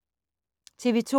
TV 2